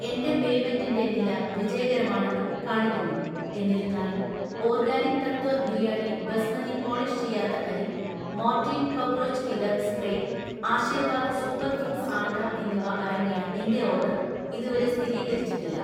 എന്‍റെ പേയ്‌മെന്റിൻ്റെ നില വിജയകരമാണെന്ന് കാണിക്കുന്നു, എന്നിരുന്നാലും ഓർഗാനിക് തത്വ ബിരിയാണി ബസ്മതി പോളിഷ് ചെയ്യാത്ത അരി, Mortein cockroach killer spray, Aashirvaad super foods atta എന്നിവ അടങ്ങിയ എന്‍റെ ഓർഡർ ഇതുവരെ സ്ഥിരീകരിച്ചിട്ടില്ല.